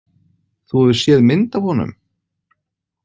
Þú hefur séð mynd af honum?